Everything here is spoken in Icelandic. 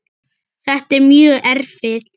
Þetta er mjög erfitt.